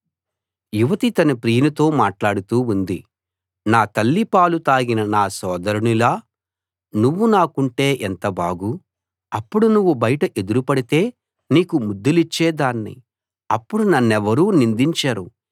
యువతి తన ప్రియునితో మాట్లాడుతూ ఉంది నా తల్లి పాలు తాగిన నా సోదరునిలా నువ్వు నాకుంటే ఎంత బాగు అప్పుడు నువ్వు బయట ఎదురు పడితే నీకు ముద్దులిచ్చేదాన్ని అప్పుడు నన్నెవరూ నిందించరు